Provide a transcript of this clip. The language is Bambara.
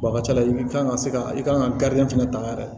a ka ca ala fɛ i kan ka se ka i kan ka fana ta yɛrɛ